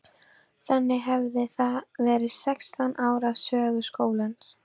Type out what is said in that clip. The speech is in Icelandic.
Þannig hefði það verið sextán ára sögu skólans.